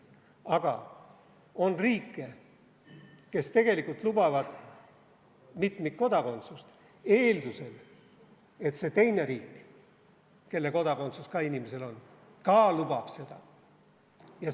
Aga on riike, kes tegelikult lubavad mitmikkodakondsust eeldusel, et see teine riik, mille kodakondsus ka inimesel on, ka lubab seda.